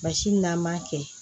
Basi min n'an m'a kɛ